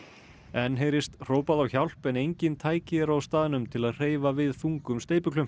enn heyrist hrópað á hjálp en engin tæki eru á staðnum til að hreyfa við þungum